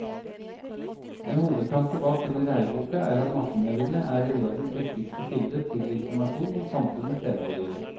En hovedtanke bak denne læreboka er at massemediene er elevenes viktigste kilde til informasjon om samfunnet senere i livet.